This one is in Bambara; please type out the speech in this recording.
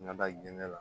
N ka da gɛn na